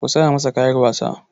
Ku saya masa kayan wasa!